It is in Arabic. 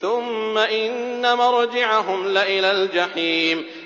ثُمَّ إِنَّ مَرْجِعَهُمْ لَإِلَى الْجَحِيمِ